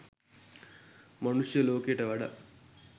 මනුෂ්‍ය ලෝකයට වඩා